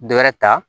Dɔ wɛrɛ ta